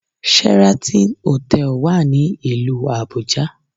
Sheraton hotel wà ní ìlú Àbújá